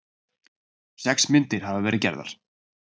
Sex myndir hafa verið gerðar